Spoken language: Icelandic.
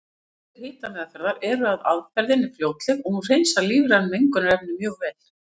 Kostir hitameðferðar eru að aðferðin er fljótleg og hún hreinsar lífræn mengunarefni mjög vel.